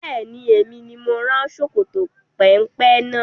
Bẹ́ẹ̀ni, Emi ni mo rán ṣòkòtò péńpé náà